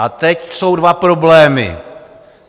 A teď jsou dva problémy.